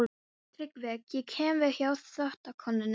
TRYGGVI: Ég kom við hjá þvottakonunni.